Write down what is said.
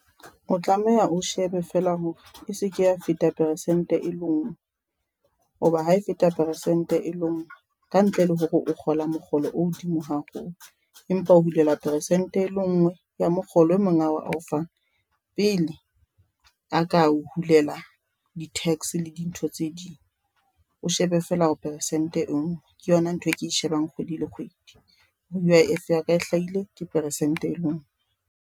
O tlameha o shebe feela hore e seke ya feta peresente e lenngwe, hoba ha e feta peresente e lenngwe ka ntle le hore o kgola mokgolo o hodimo haholo, empa o hulelwa peresente e le nngwe ya mokgolo eo monga hao a o fang, pele a ka o hulela di-tax le dintho tse ding. O shebe feela hore peresente e nngwe ke yona ntho eo ke e shebang kgwedi le kgwedi bo U_I_F ya ka e hlahile ke peresente e lenngwe.